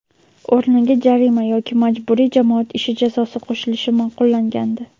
o‘rniga jarima yoki majburiy jamoat ishi jazosi qo‘shilishi ma’qullangandi.